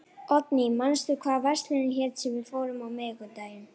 Oddný, manstu hvað verslunin hét sem við fórum í á miðvikudaginn?